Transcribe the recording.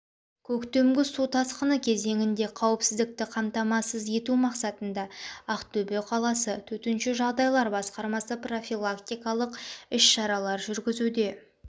көктемгі су тасқыны кезеңінде қауіпсіздікті қамтамасыз ету мақсатында ақтөбе қаласы төтенше жағдайлар басқармасы профилактикалық іс-шаралар жүргізуде